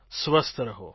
સ્વસ્થ રહો